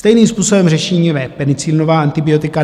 Stejným způsobem řešíme penicilinová antibiotika.